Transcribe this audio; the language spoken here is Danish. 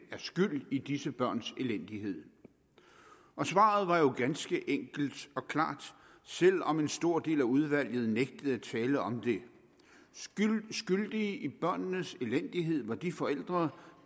er skyld i disse børns elendighed svaret var jo ganske enkelt og klart selv om en stor del af udvalget nægtede at tale om det skyldige i børnenes elendighed var de forældre